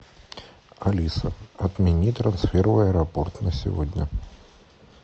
алиса отмени трансфер в аэропорт на сегодня